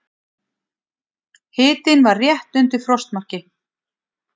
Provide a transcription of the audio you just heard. Hitinn var rétt undir frostmarki.